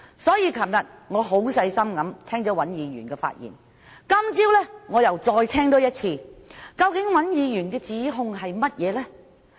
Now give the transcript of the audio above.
所以，昨天我很細心聆聽尹議員的發言，今早我又再多聽一次，究竟尹議員的指控是甚麼？